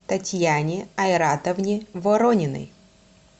татьяне айратовне ворониной